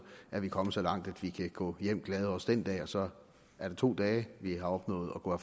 er vi kommet så langt at vi kan gå glade hjem også den dag og så er der to dage vi har opnået at gå